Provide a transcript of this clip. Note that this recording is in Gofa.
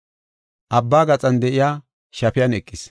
Abba gaxan de7iya shafiyan eqis.